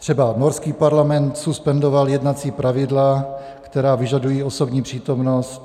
Třeba norský parlament suspendoval jednací pravidla, která vyžadují osobní přítomnost.